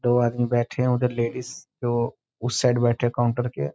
दो आदमी बैठे हैं उधर लेडीज़ जो उस साइड बैठे हैं काउंटर के।